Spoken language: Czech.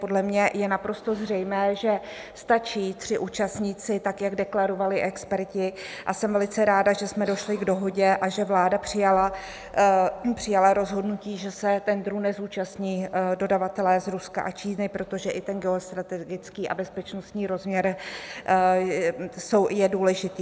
Podle mě je naprosto zřejmé, že stačí tři účastníci, tak jak deklarovali experti, a jsem velice ráda, že jsme došli k dohodě a že vláda přijala rozhodnutí, že se tendru nezúčastní dodavatelé z Ruska a Číny, protože i ten geostrategický a bezpečnostní rozměr je důležitý.